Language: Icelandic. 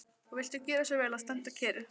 Og viltu gjöra svo vel að standa kyrr.